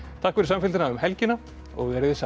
takk fyrir samfylgdina um helgina verið þið sæl